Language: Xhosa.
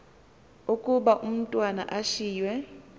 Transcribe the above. ukuba umatwana ushiywe